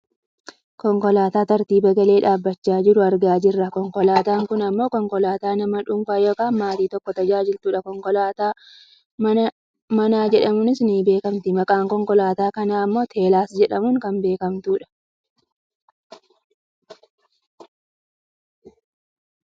konkolaataa tartiiba galee dhaabbachaa jiru argaa jirra. konkolaataan kun ammoo konkolaataa nama dhuunfaa yookaan maatii tokko tajaajiltudha. konkolaataa manaa jedhamuunis ni beekkamti. maqaan konkolaataa kanaa ammo teslaa jedhamuun kan beekkamtudha.